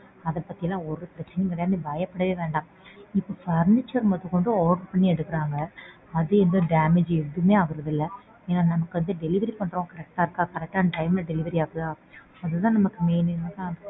அதபத்திலாம் ஒருபிரச்சனையும் கிடையாது நீ பயப்படவே வேண்டாம். இப்போ furniture முதகொண்டு order பண்ணி எடுக்கறாங்க. அது எந்த damage எதுவுமே ஆகறது இல்ல. ஏன்னா நமக்கு வந்து delivery பண்றவங்க correct ஆ இருக்கா. Correct ஆனா time ல delivery ஆகுதா அதுதான் நமக்கு main.